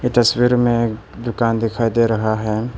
तस्वीर में दुकान दिखाई दे रहा है।